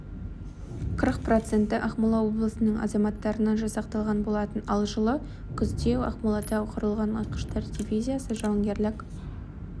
қырық проценті ақмола облысының азаматтарынан жасақталған болатын ал жылы күзде ақмолада құрылған атқыштар дивизиясы жауынгерлік